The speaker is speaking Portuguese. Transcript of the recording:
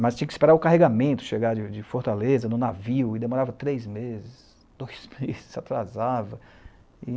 Mas tinha que esperar o carregamento chegar de de Fortaleza, no navio, e demorava três meses, dois meses, atrasava.